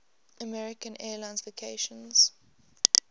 american airlines vacations